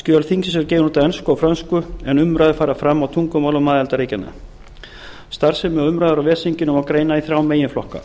skjöl þingsins eru gefin út á ensku og frönsku en umræður fara fram á tungumálum aðildarríkjanna starfsemi og umræður á ves þinginu má greina í þrjá meginflokka